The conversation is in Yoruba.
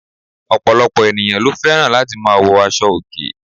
Òpòlòpò ènìyãn lo féràn láti ma wo aso òkè